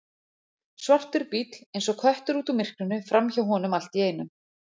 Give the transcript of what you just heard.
Svartur bíll eins og köttur út úr myrkrinu framhjá honum allt í einu.